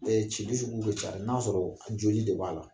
cili sugu kɛ ca n'a sɔrɔ jɔli dɔ b'a la